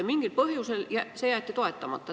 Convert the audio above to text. Mingil põhjusel see ettepanek jäeti toetamata.